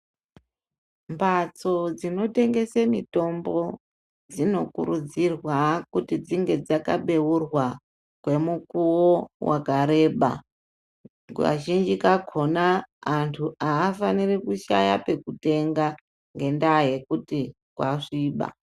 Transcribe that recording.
Mbatso dzinotengese mitombo dzinokurudzirwa kuti dzinge dzakabeurwa kwemukuwo wakareba. Kazhinji kakona antu haafaniri kushaya pekutenga mitombo ngendaa yekuti kwasviba.